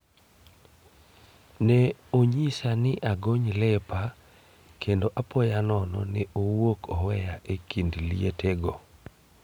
Ne onyisa ni agony lepa kendo apoya nono ne owuok oweya e kind lietego.